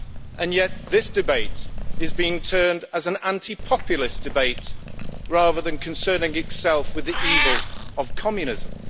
And yet, this debate is being turned into an anti populist debate rather than concerning itself with the evil of communism.